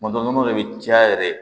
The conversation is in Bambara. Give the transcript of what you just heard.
Tuma dɔ nɔnɔ de bɛ caya yɛrɛ